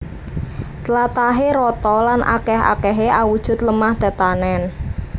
Tlatahé rata lan akèh akèhé awujud lemah tetanèn